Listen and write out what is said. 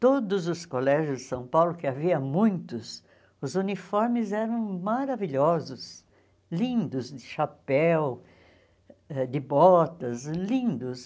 Todos os colégios de São Paulo, que havia muitos, os uniformes eram maravilhosos, lindos, de chapéu, eh de botas, lindos.